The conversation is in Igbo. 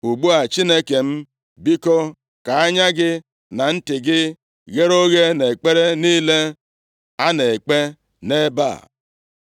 “Ugbu a, Chineke m, biko ka anya gị na ntị gị ghere oghe nʼekpere niile a na-ekpe nʼebe a.